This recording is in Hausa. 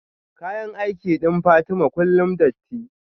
kayan aiki din Fatima kullum datti